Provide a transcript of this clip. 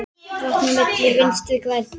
Vatn á myllu Vinstri grænna?